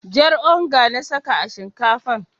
Jar onga na saka a shinkafan.